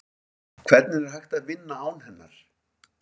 Hvernig er hægt að vinna án hennar?